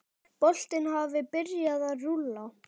Boltinn hafi byrjað að rúlla.